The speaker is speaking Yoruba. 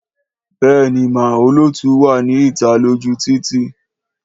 Béèni má olóòlù wà ní ìta lójú títì